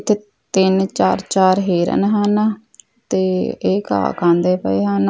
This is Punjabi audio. ਤੇ ਤਿੰਨ ਚਾਰ ਚਾਰ ਹਿਰਨ ਹਨ ਤੇ ਇਹ ਘਾਹ ਖਾਂਦੇ ਪਏ ਹਨ।